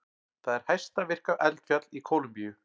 Það er hæsta virka eldfjall í Kólumbíu.